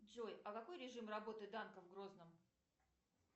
джой а какой режим работы данко в грозном